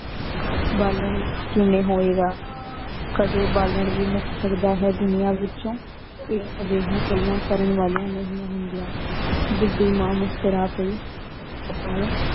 ਬਾਲਣ ਵਿਚ ਕਿਵੇਂ ਹੋਏਗਾ ਕਦੇ ਬਾਲਣ ਵੀ ਮੁਕ ਸਕਦਾ ਆਯ ਹੈਂ ਦੁਨੀਆਂ ਵਿਚੋਂ। ਏਹੀ ਜਿਰ੍ਯਾਂ ਘਾਲਾਂ ਕਰਨ ਵਾਲਿਆਂ ਨੀ ਹੁੰਦੇਯਾਂ ਬੁਢੀ ਮਾਂ ਮੁਸਕੁਰਾ ਪੈ ਅਪਣੇ